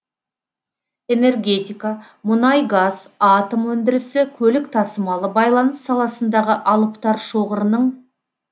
энергетика мұнай газ атом өндірісі көлік тасымалы байланыс саласындағы алыптар шоғырының